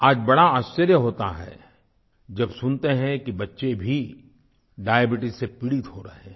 आज बड़ा आश्चर्य होता है जब सुनते हैं कि बच्चे भी डायबीट्स से पीड़ित हो रहे हैं